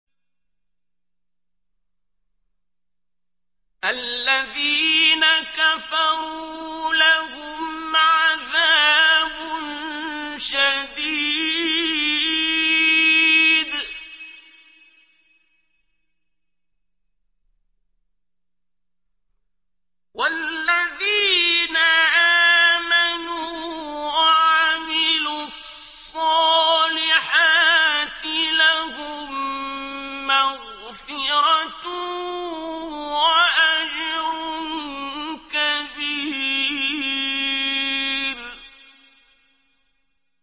الَّذِينَ كَفَرُوا لَهُمْ عَذَابٌ شَدِيدٌ ۖ وَالَّذِينَ آمَنُوا وَعَمِلُوا الصَّالِحَاتِ لَهُم مَّغْفِرَةٌ وَأَجْرٌ كَبِيرٌ